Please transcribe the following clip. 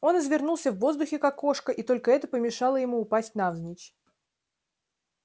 он извернулся в воздухе как кошка и только это помешало ему упасть навзничь